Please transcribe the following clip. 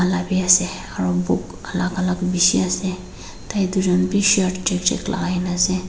aro book alal alal beshi ase tai tu jun be shirt jak jak lakai kena ase.